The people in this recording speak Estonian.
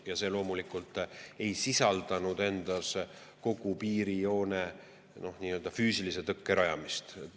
Ja see loomulikult ei sisaldanud endas kogu piirijoonel füüsilise tõkke rajamist.